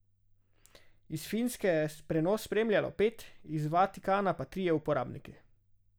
Iz Finske je prenos spremljalo pet, iz Vatikana pa trije uporabniki.